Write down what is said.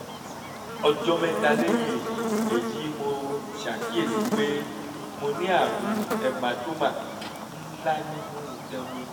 ọjọ́ mẹ́ta lẹ́yìn èyí èyí mo ṣàkíyèsí pé mo ní àrùn hematoma ńlá nínú itan mi